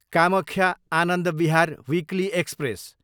Kamakhya, Anand Vihar weekly express